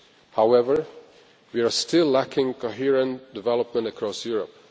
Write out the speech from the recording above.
However, we are still lacking coherent development across Europe.